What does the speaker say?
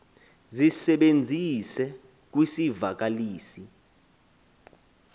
zisebenzise kwisi vakalisi